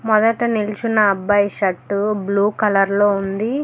మొదట నిల్చున్న అబ్బాయి షర్టు బ్లూ కలర్లో ఉంది.